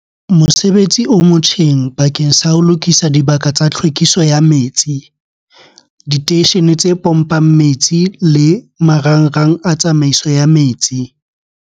Mosebetsi o motjheng bakeng sa ho lokisa dibaka tsa tlhwekiso ya metsi, diteishene tse pompang metsi le marangrang a tsamaiso ya metsi.